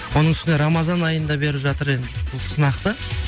оның үстіне рамазан айында беріп жатыр енді бұл сынақты